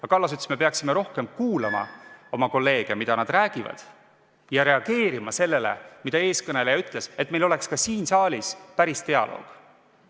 Aga Kallas ütles, et me peaksime rohkem kuulama oma kolleege, kuulama, mida nad räägivad, ja reageerima sellele, mida eelmine kõneleja ütles, et meil oleks ka siin saalis päris dialoog.